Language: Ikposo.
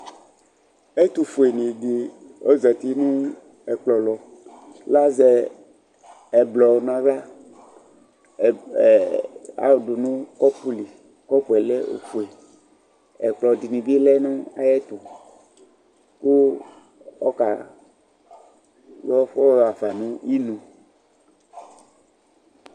Ɛtʋ fue nɩ ɖɩ ,ozati nʋ ɛƙplɔ lɔ; l' azɛ ɛblɔ nʋ ƙɔpʋ fue nʋ aɣlaƐƙplɔ ɖɩnɩ bɩ lɛ nʋ aƴɛtʋ ,ƙʋ ɔƙa fʋ ɔhafa nʋ inu